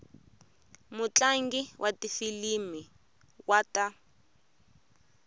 mutlangi wa tifilimi wa ta